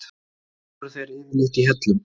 Voru þeir yfirleitt í hellum?